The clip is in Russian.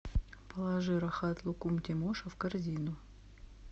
положи рахат лукум тимоша в корзину